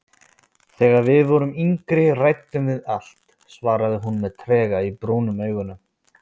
Þegar við vorum yngri ræddum við allt, svaraði hún með trega í brúnum augunum.